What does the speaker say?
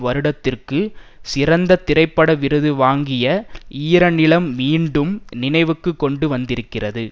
வருடத்திற்கு சிறந்த திரைப்பட விருது வாங்கிய ஈரநிலம் மீண்டும் நினைவுக்கு கொண்டு வந்திருக்கிறது